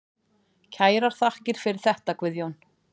Kærar þakkir fyrir þetta Guðjón.